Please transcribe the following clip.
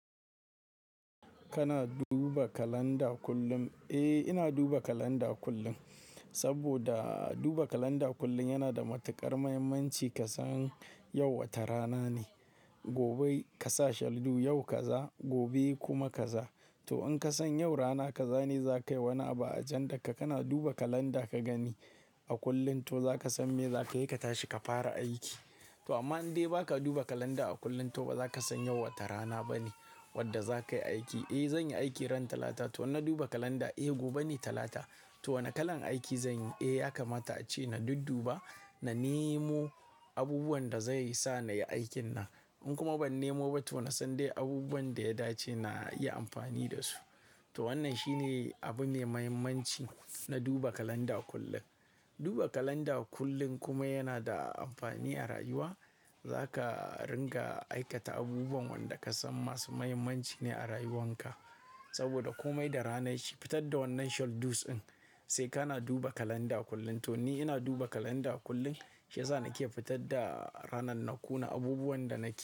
Kana duba kalanda kullum? Eh, ina duba kalanda kullum, saboda duba kalanda kullum yana da matuƙar muhimmanci ka san yau wace rana ne. Gobe ka sa shaldu, yau ka za, gobe kuma ka za. To in ka san yau rana ka za ne za ka yi wani abu a agendar ka kana duba kalanda ka gani a kullum, to za ka san me za ka yi ka tashi ka fara aiki. To amma in dai ba ka duba kalanda a kullum, to ba za ka san yau wacce rana ba ne wadda za ka yi aiki. Eh zan yi aiki ran talata. To idan na duba kalanda, eh gobe ne talata. To wane kalan aiki zan yi? Eh ya kamata ace na dudduba, na nemo abubuwan da zai sa na yi aikin na. In kuma ban nemo ba to na san dai abubuwan da ya dace na yi amfani da su. To wannan shi ne abu mai muhimmanci na duba kalanda kullum. Duba kalanda kullum kuma yana da amfani a rayuwa. Za ka ringa aikata abubuwan wanda ka san masu muhimmanci ne a rayuwan ka. Saboda komai da ranar shi fitar da wannan shaldus ɗin sai ka na duba kalanda kullum. To ni ina duba kalanda kullum shi ya sa na ke fitar da ranan na kuna abubuwan da na ke.